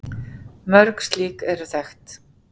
Mörg slík eru þekkt.